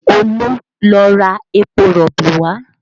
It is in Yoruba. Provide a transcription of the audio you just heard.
Olu lọ ra epo rọ̀bì wá